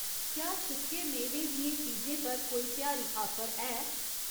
क्या सुक्के मेवें दियें चीजें पर कोई त्यहारी आफर ऐ ?